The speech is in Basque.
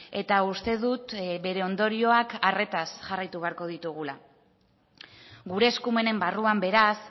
eta uste dut bere ondorioak arretaz jarraitu beharko ditugula gure eskumenen barruan beraz